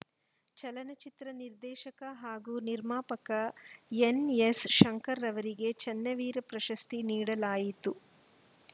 ಚಲನಚಿತ್ರ ನಿರ್ದೇಶಕ ಹಾಗೂ ನಿರ್ಮಾಪಕ ಎನ್‌ಎಸ್‌ ಶಂಕರ್‌ ರವರಿಗೆ ಚನ್ನವೀರ ಪ್ರಶಸ್ತಿ ನೀಡಲಾಯಿತು